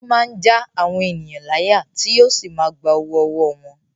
Ó máa ń já àwọn ènìyàn láyà tí yóò sì máa gba owó ọwọ́ wọn.